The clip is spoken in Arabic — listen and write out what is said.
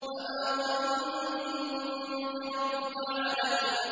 فَمَا ظَنُّكُم بِرَبِّ الْعَالَمِينَ